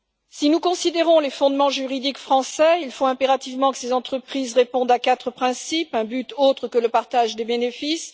Si nous considérons les fondements juridiques français, il faut impérativement que ces entreprises répondent à quatre principes 1 un but autre que le partage des bénéfices